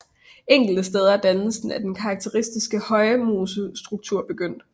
Enkelte steder er dannelsen af den karakteristiske højmosestruktur begyndt